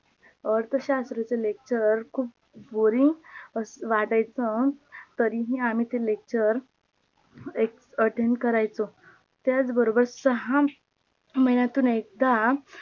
अर्थशास्त्राचा LECTURE खूप BOARING वाटायच तरीही आम्ही ते LECTURE ATTEND करायचो त्याच बरोबर सहा महिन्यातून एकदा